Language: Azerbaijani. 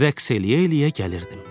Rəqs eləyə-eləyə gəlirdim.